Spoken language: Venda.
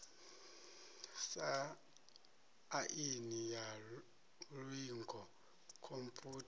sa aini ya iuingo khomphutha